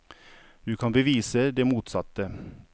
Du kan bevise det motsatte.